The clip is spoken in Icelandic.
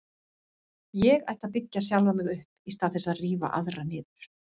Ég ætti að byggja sjálfan mig upp í stað þess að rífa aðra niður.